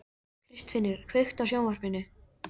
Kristfinnur, kveiktu á sjónvarpinu.